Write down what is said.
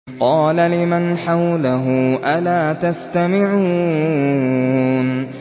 قَالَ لِمَنْ حَوْلَهُ أَلَا تَسْتَمِعُونَ